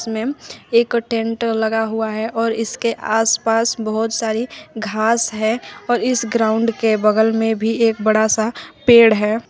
में टेंट लगा हुआ है और इसके आसपास बहोत सारी घास है और इस ग्राउंड के बगल में भी एक बड़ा सा पेड़ है।